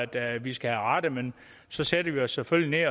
at vi skal have rettet men så sætter vi os selvfølgelig